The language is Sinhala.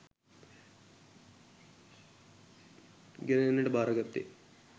ගෙන එන්නට භාරගත්තේ